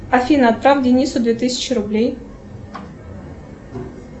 афина отправь денису две тысячи рублей